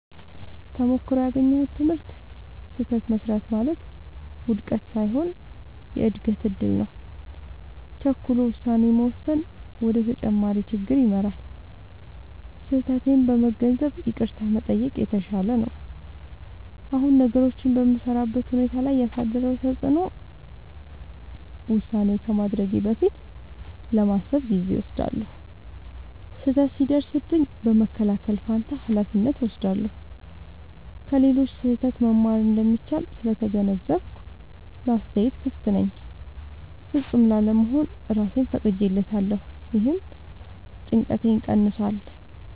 ተሞክሮው ያገኘሁት ትምህርት፦ · ስህተት መሥራት ማለት ውድቀት ሳይሆን የእድገት እድል ነው። · ቸኩሎ ውሳኔ መወሰን ወደ ተጨማሪ ችግር ይመራል። · ስህተቴን በመገንዘብ ይቅርታ መጠየቅ የተሻለ ነው። አሁን ነገሮችን በምሠራበት ሁኔታ ላይ ያሳደረው ተጽዕኖ፦ · ውሳኔ ከማድረጌ በፊት ለማሰብ ጊዜ እወስዳለሁ። · ስህተት ሲደርስብኝ በመከላከል ፋንታ ኃላፊነት እወስዳለሁ። · ከሌሎች ስህተት መማር እንደሚቻል ስለተገነዘብኩ ለአስተያየት ክፍት ነኝ። · ፍጹም ላለመሆን እራሴን ፈቅጄለታለሁ — ይህም ጭንቀቴን ቀንሷል።